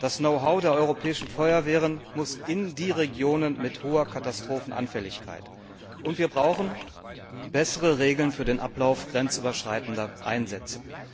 Das Know how der europäischen Feuerwehren muss in die Regionen mit hoher Katastrophenanfälligkeit getragen werden. Und wir brauchen bessere Regeln für den Ablauf grenzüberschreitender Einsätze.